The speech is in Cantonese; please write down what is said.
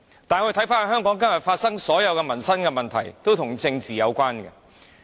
但是，今天香港發生的所有民生問題皆與政治有關。